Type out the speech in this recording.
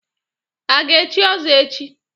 A ga-echi ọzọ echi?